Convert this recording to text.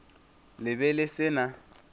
le be le se na